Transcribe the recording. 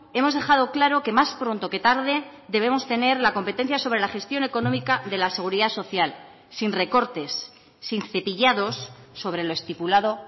hemos dejado claro que más pronto que tarde debemos tener la competencia sobre la gestión económica de la seguridad social sin recortes sin cepillados sobre lo estipulado